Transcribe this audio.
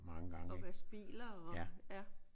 Og vaske biler og ja